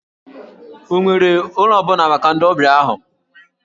Ọ nwere ụlọ ọ bụla maka ndị ọbịa ahụ?